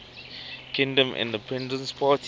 kingdom independence party